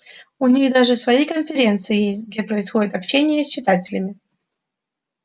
у них даже свои конференции есть где происходит общение с читателями